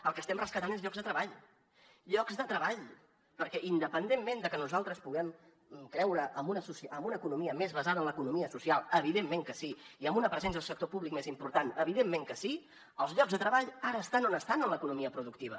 el que estem rescatant són llocs de treball llocs de treball perquè independentment de que nosaltres puguem creure en una economia més basada en l’economia social evidentment que sí i en una presència del sector públic més important evidentment que sí els llocs de treball ara estan on estan en l’economia productiva